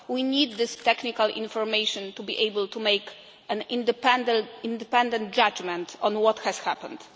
We need this technical information to be able to make an independent judgement on what has happened.